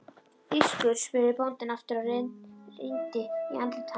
Þýskur? spurði bóndinn aftur og rýndi í andlit hans.